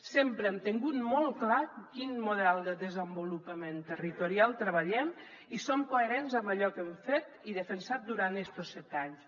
sempre hem tingut molt clar quin model de desenvolupament territorial treballem i som coherents amb allò que hem fet i defensat durant estos set anys